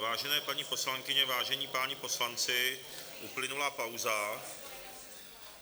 Vážené paní poslankyně, vážení páni poslanci, uplynula pauza.